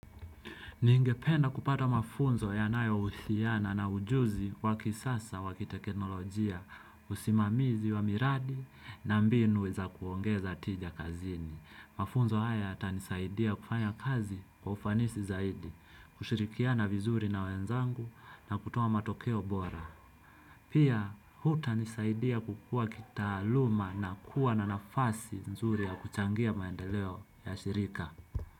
Ningependa kupata mafunzo yanayo husiana na ujuzi wa kisasa wa teknolojia usimamizi wa miradi na mbinu za kuongeza tija kazini mafunzo haya yata nisaidia kufanya kazi kwa ufanisi zaidi, kushirikiana vizuri na wenzangu na kutoa matokeo bora. Pia huta nisaidia kukua kitaluma na kuwa na nafasi nzuri ya kuchangia maendeleo ya shirika.